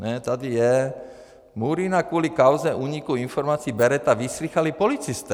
Ne, tady je: Murína kvůli kauze úniku informací Bereta vyslýchali policisté.